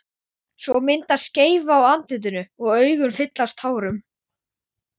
Svo myndaðist skeifa á andlitinu og augun fylltust tárum.